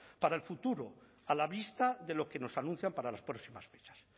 para el futuro a la vista de lo que nos anuncian para las próximas fechas